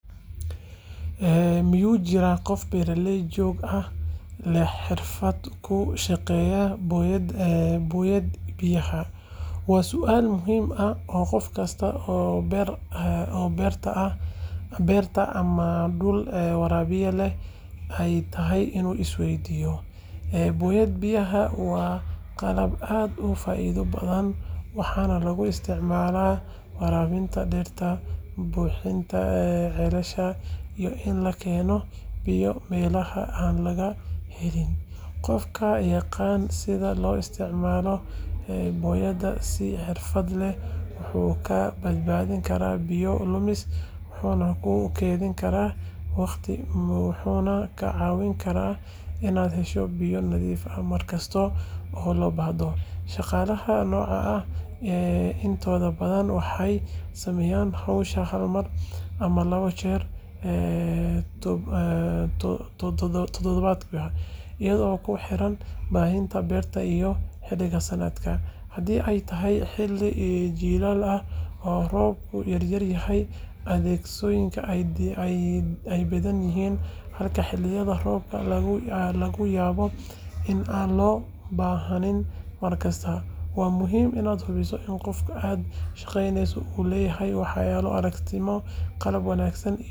Miyuu jiraa qof beertaada jooga oo leh xirfad uu ku shaqeeyo booyad biyaha? Waa su’aal muhiim ah oo qof kasta oo beerta ama dhul waraabiya leh ay tahay inuu is weydiiyo. Booyad biyaha waa qalab aad u faa’iido badan, waxaana lagu isticmaalaa waraabinta dhirta, buuxinta ceelasha, iyo in la keeno biyo meelaha aan laga helin. Qofka yaqaan sida loo isticmaalo booyadda si xirfad leh wuxuu kaa badbaadin karaa biyo lumis, wuxuu kuu keydin karaa waqti, wuxuuna kaa caawin karaa inaad hesho biyo nadiif ah mar kasta oo loo baahdo. Shaqaalaha noocan ah intooda badan waxay sameeyaan howsha hal mar ama laba jeer toddobaadkii iyadoo ku xiran baahida beerta iyo xilliga sanadka. Haddii ay tahay xilli jiilaal ah oo roobku yaryahay, adeegsigooda ayaa badan, halka xilliyada roobka laga yaabo in aan loo baahnayn mar kasta. Waa muhiim inaad hubiso in qofka aad shaqaaleyneyso uu leeyahay waayo-aragnimo, qalab wanaagsan, iyo sumcad wanaagsan. Marka la isku daro xirfadda shaqsiga iyo baahida beertaada, waxaad heli kartaa adeeg joogto ah oo lagu kalsoonaan karo.